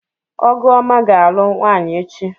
Ọgụọma ga-alụ nwaanyị echi.